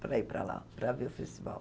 para ir para lá, para ver o festival.